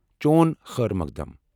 چون خٲر مقدم ۔